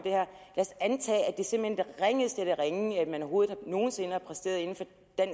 ringeste af det ringe man overhovedet nogen sinde har præsteret inden for